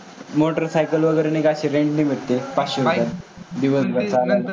Motor cycle वगैरे अशी rent नी मिळते का? पाचशे रुपये दिवसभर चालवायला.